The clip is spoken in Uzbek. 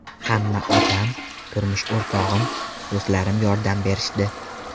Hamma otam, turmush o‘rtog‘im, do‘stlarim yordam berishdi.